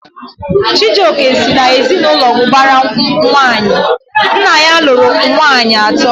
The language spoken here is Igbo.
Chijioke si na ezinaụlọ ubara nwanyi, nna ya lụrụ nwanyị ato